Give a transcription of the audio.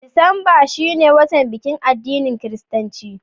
Disamba shi ne watan bikin addinin kiristanci.